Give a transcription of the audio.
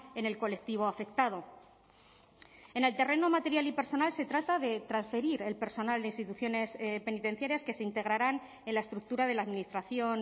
en el colectivo afectado en el terreno material y personal se trata de transferir el personal de instituciones penitenciarias que se integrarán en la estructura de la administración